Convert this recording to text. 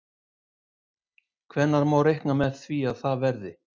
Hvenær má reikna með að það verði?